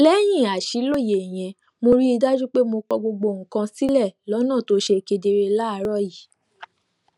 léyìn àṣìlóye yẹn mo rí i dájú pé mo kọ gbogbo nǹkan sílè lónà tó ṣe kedere láàárò yìí